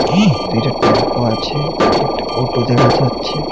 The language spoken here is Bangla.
টেম্পো আছে একটা অটো দেখা যাচ্ছে।